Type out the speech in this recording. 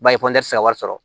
Ba ye ka wari sɔrɔ